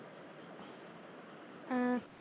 ਆ